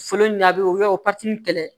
Fɔlɔ ɲanbi u bɛ o pati kɛlɛ